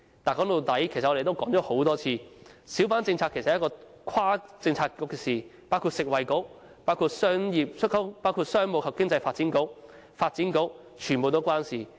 但說到底，其實我們也說過很多次，小販政策是一項跨政策局的工作，牽涉食物及衞生局、商務及經濟發展局、發展局等。